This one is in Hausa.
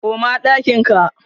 koma ɗakin ka!